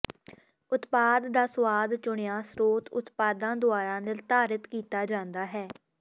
ਉਤਪਾਦ ਦਾ ਸੁਆਦ ਚੁਣਿਆ ਸਰੋਤ ਉਤਪਾਦਾਂ ਦੁਆਰਾ ਨਿਰਧਾਰਤ ਕੀਤਾ ਜਾਂਦਾ ਹੈ